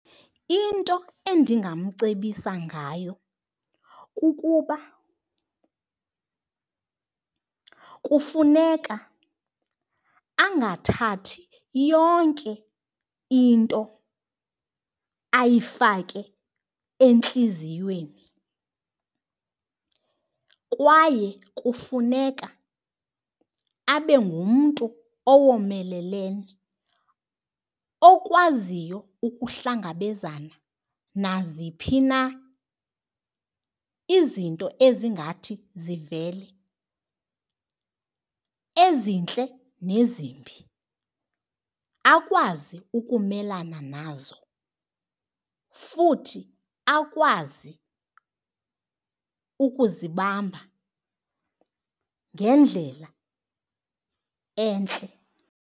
Into endingamcebisa ngayo kukuba kufuneka angathathi yonke into ayifake entliziyweni kwaye kufuneka abe ngumntu owomeleleyo okwaziyo ukuhlangabezana naziphi na izinto ezingathi zivele, ezintle nezimbi. Akwazi ukumelana nazo futhi akwazi ukuzibamba ngendlela entle.